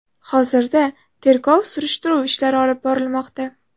Hozirda tergov-surishtiruv ishlari olib borilmoqda.